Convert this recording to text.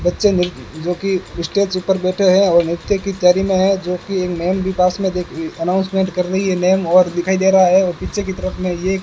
बच्चे निर्त जोकि स्टेज ऊपर बैठे हैं और नृत्य की तैयारी में है जोकि एक मम भी पास में देख अनाउंसमेंट कर रही है नेम और दिखाई दे रहा है और पीछे की तरफ में ये --